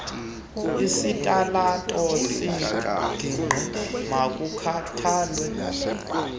ezitalato zengingqi makuthathelwe